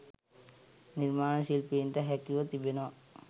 නිර්මාණ ශිල්පීන්ට හැකිව තිබෙනවා